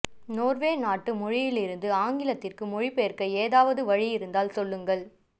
Norway நாட்டு மொழியில் இருந்து ஆங்கிலத்துக்கு மொழிபெயர்க்க ஏதாவது வழி இருந்தால் சொல்லுங்கள்